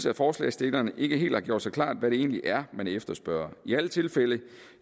at forslagsstillerne ikke har gjort sig helt klart hvad det er man efterspørger i alle tilfælde